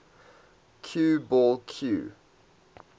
cue ball cue